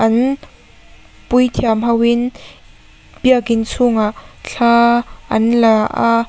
an puithiam ho in biakin chhungah thla an la a.